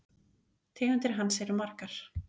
Tegundir hans eru margar